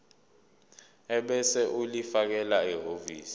ebese ulifakela ehhovisi